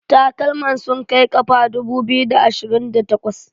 takalman sun Kai kafa dubu biyu da ashirinda takwas